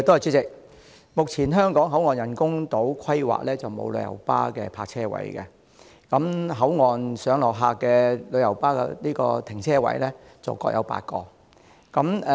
主席，目前香港口岸人工島規劃中沒有旅遊巴的泊車位，而口岸上落客的停車位則各有8個。